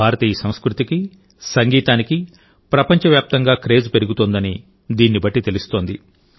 భారతీయ సంస్కృతికి సంగీతానికి ప్రపంచ వ్యాప్తంగా క్రేజ్ పెరుగుతోందని దీన్నిబట్టి తెలుస్తోంది